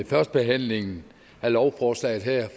førstebehandlingen af lovforslaget her